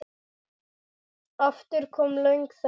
Aftur kom löng þögn.